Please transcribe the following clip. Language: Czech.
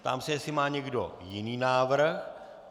Ptám se, jestli má někdo jiný návrh.